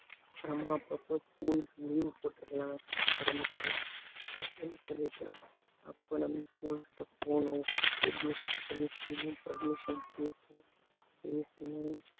அப்புறமா அப்போப்போ schools leave போட்டிருக்கலாம் உடம்பு சரியில்லை madam அப்படினு சொல்லிட்டு அப்ப நம்ம school கிட்ட போகனும் permission கேக்கணும் பேசணும்